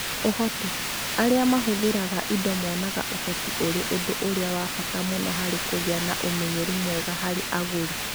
Ũhoti: Arĩa mahũthĩraga indo monaga ũhoti ũrĩ ũndũ ũrĩa wa bata mũno harĩ kũgĩa na ũmenyeru mwega harĩ agũri.